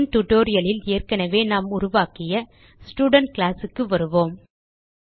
முன் tutorialலில் ஏற்கனவே நாம் உருவாக்கிய ஸ்டூடென்ட் கிளாஸ் க்கு வருவோம்